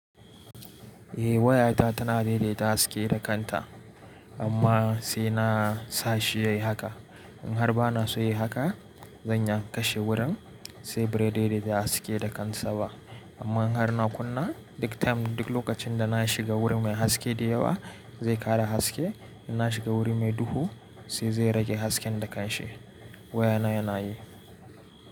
Eh wayata tana daidaita haske da kanta amma sai na sashi yayi haka. In har bana so yai haka, zan iya kashe wuran sai bai daidaita haske da kansa ba. Amma in har na kunna, duk lokacin da na shiga wuri mai haske da yawa zai kara haske, in na shiga wuri mai duhu sai zai rage hasken da ka shi. Wayana yana yi.